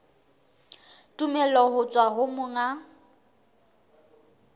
tumello ho tswa ho monga